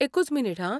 एकूच मिनिट हां.